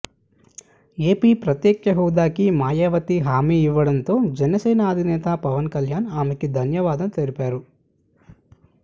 AP ప్రత్యేక హోదాకి మాయావతి హామీ ఇవ్వడంతో జనసేన అధినేత పవన్ కల్యాణ్ ఆమెకి ధన్యవాదాలు తెలిపారు